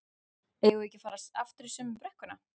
eigum við ekki að fara aftur í sömu brekkuna?